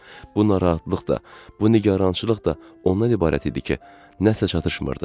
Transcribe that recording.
Bu narahatlıq da, bu nigarançılıq da ondan ibarət idi ki, nəsə çatışmırdı.